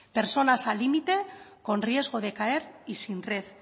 personas al límite con riesgo de caer y sin red